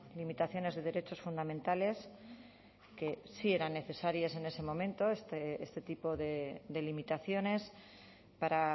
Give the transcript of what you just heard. limitaciones de derechos fundamentales que sí eran necesarias en ese momento este tipo de limitaciones para